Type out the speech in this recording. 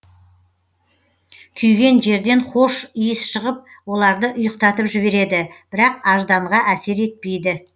күйген жерден хош иіс шығып оларды ұйықтатып жібереді бірақ ажданға әсер етпейді